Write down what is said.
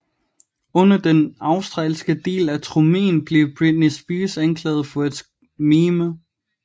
Under den australske del af turnéen blev Britney Spears anklaget for at mime